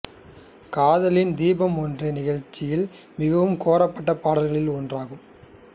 காதலின் தீபம் ஒன்று நிகழ்ச்சியில் மிகவும் கோரப்பட்ட பாடல்களில் ஒன்றாகும்